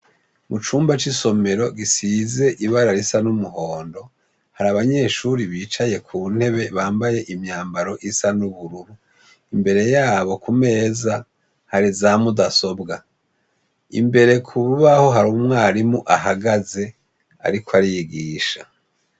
Mu cumba c'isomero gisize ibara risa n'umuhondo hari abanyeshure bicaye ku ntebe bambaye imyambaro isa n'ubururu imbere yabo kumeza hari za mudasobwa. Imbere ku rubaho hari umwarimu ahagaze ariko arigisha.